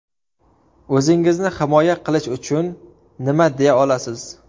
O‘zingizni himoya qilish uchun nima deya olasiz?